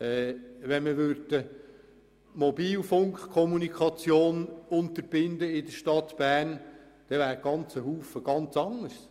Wenn man die Mobilfunkkommunikation in der Stadt Bern unterbinden würde, dann wäre sehr vieles ganz anders.